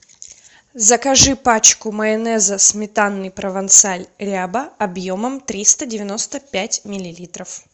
закажи пачку майонеза сметанный провансаль ряба объемом триста девяносто пять миллилитров